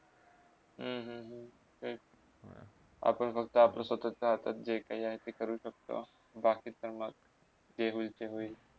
हम्म हम्म तेच आपण फहक्त आपल्या स्वतःच्या हातात जे काही आहे ते करू शकते. बाकीचा जे मग होईल ते होईल